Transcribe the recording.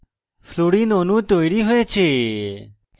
fluorine অণু তৈরী হয়েছে